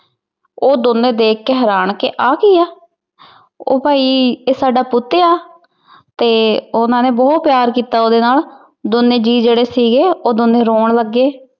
ਉਹ ਦੋਨੋ ਦੇਖ ਕੇ ਹੈਰਾਨ ਕਿ ਆਹ ਕੀ ਐ? ਉਹ ਭਾਈ ਇਹ ਸਾਡਾ ਪੁੱਤ ਆ? ਤੇ ਉਹਨਾ ਨੇ ਬਹੁਤ ਪਿਆਰ ਕੀਤਾ ਉਹਦੇ ਨਾਲ ਦੋਨੇ ਜੀ ਜਿਹੜੇ ਸੀਗੇ ਉਹ ਦੋਨੇ ਰੋਣ ਲੱਗੇ?